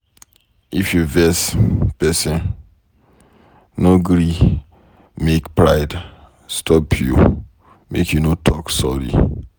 If you vex pesin, no gree make pride stop you make you no talk sorry.